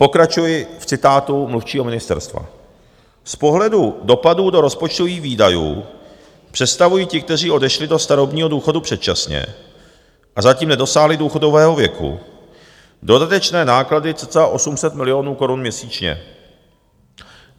Pokračuji v citátu mluvčího ministerstva: "Z pohledu dopadů do rozpočtových výdajů představují ti, kteří odešli do starobního důchodu předčasně a zatím nedosáhli důchodového věku, dodatečné náklady cca 800 milionů korun měsíčně.